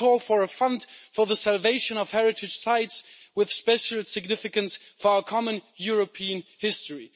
I call for a fund for the salvation of heritage sites with special significance for our common European history.